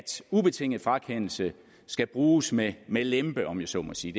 ubetinget frakendelse skal bruges med med lempe om jeg så må sige